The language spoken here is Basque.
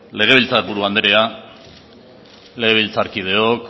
legebiltzar buru andrea legebiltzarkideok